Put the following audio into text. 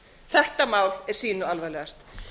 þetta mál er sýnu alvarlegast